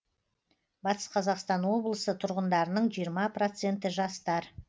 батыс қазақстан облысы тұрғындарының жиырма проценті жастар